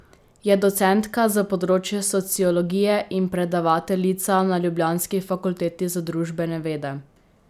Je docentka za področje sociologije in predavateljica na ljubljanski Fakulteti za družbene vede.